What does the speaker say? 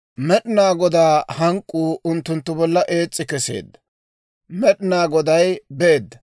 Med'inaa Godaa hank'k'uu unttunttu bolla ees's'i keseedda; Med'inaa Goday beedda.